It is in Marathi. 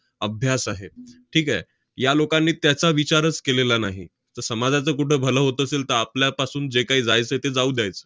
अभ्यास आहे. ठीक आहे? या लोकांनी त्याचा विचारच केलेला नाही. तर समाजाचं कुठं भलं होत असेल, तर आपल्यापासून जे काही जायचं ते जाऊ द्यायचं.